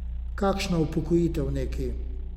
Kakšna upokojitev neki?